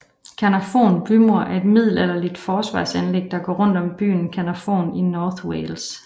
Caernarfon bymur er et middelalderligt forsvarsanlæg der går rundt om byen Caernarfon i North Wales